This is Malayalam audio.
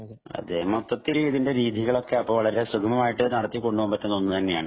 മൊത്തത്തിൽ ഇതിന്റെ രീതികളൊക്കെ വളരെ സുഗമമായിട്ടു നടത്തിക്കൊണ്ടുപോകാൻ പറ്റുന്ന ഒന്ന് തന്നെയാണ്